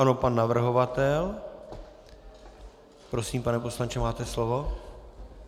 Ano, pan navrhovatel. Prosím, pane poslanče, máte slovo.